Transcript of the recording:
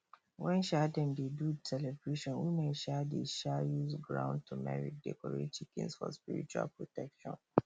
when um dem dey do celebration women um dey um use ground turmeric decorate chickens for spiritual protection